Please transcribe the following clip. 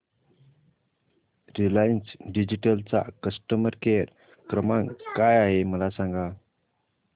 Reliance digital चा customer care क्रमांक काय आहे मला सांगा